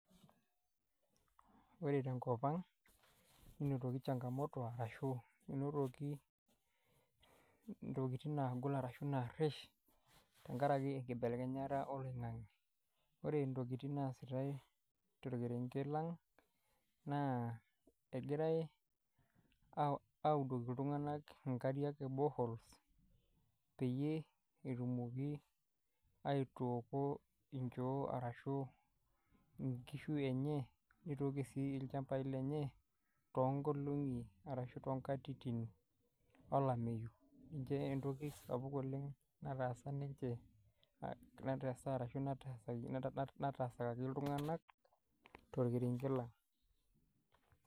Ore tenkop, ninotoki changamoto ashu enotoki intokiting nagol ashu naarrish, tenkaraki enkibelekenyata oloing'ang'e. Ore ntokiting naasitai torkerenket lang, naa egirai audoki iltung'anak inkariak e boreholes, peyie etumoki aitooko inchoo arashu inkishu enye, nitoki si ilchambai lenye, tonkolong'i arashu tonkatitin olameyu. Ninche entoki sapuk oleng nataasa ninche, nataasakaki iltung'anak torkerenket lang.